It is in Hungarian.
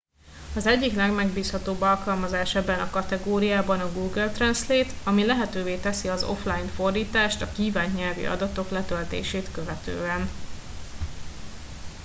az egyik legmegbízhatóbb alkalmazás ebben a kategóriában a google translate ami lehetővé teszi az offline fordítást a kívánt nyelvi adatok letöltését követően